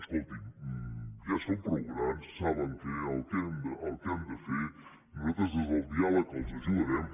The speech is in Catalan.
escolti’m ja són prou grans saben el que han de fer nosaltres des del diàleg els ajudarem